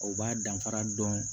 O b'a danfara dɔn